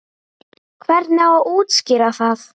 Hvernig á að útskýra það?